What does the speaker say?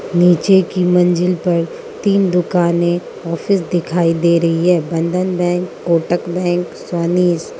नीचे की मंजिल पर तीन दुकानें ऑफिस दिखाई दे रही है बंधन बैंक कोटक बैंक स्वनिस --